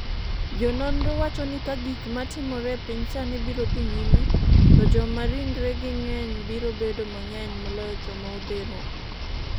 Jononro wacho ni ka gik ma timore e piny sani biro dhi nyime, to joma ringregi ng'eny biro bedo mang’eny moloyo joma odhero